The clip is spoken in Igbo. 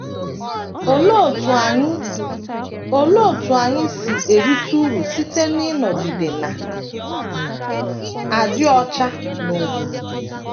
Olee otú anyị Olee otú anyị si erite uru site n’ịnọgide na - adị ọcha n’omume?